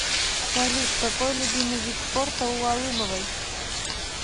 салют какой любимый вид спорта у алымовой